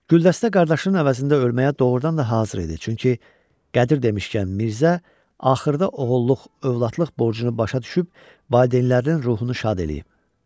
Güldəstə qardaşının əvəzində ölməyə doğurdan da hazır idi, çünki Qədir demişkən, Mirzə axırda oğulluq-övladlıq borcunu başa düşüb valideynlərinin ruhunu şad eləyib.